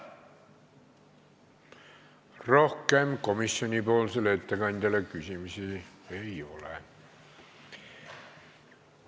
Rohkem komisjoni ettekandjale küsimusi ei ole.